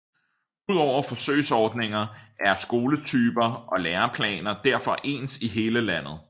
Udover forsøgsordninger er skoletyper og læreplaner derfor ens i hele landet